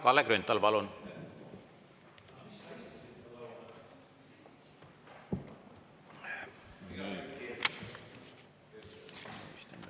Kalle Grünthal, palun!